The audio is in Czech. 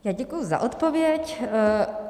Já děkuji za odpověď.